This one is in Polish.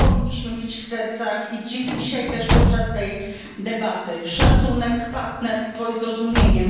I to powinniśmy mieć w sercach, i dzisiaj też podczas tej debaty szacunek, partnerstwo i zrozumienie.